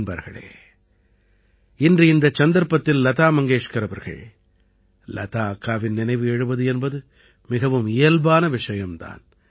நண்பர்களே இன்று இந்தச் சந்தர்ப்பத்தில் லதா மங்கேஷ்கர் அவர்கள் லதா அக்காவின் நினைவு எழுவது என்பது மிகவும் இயல்பான விஷயம் தான்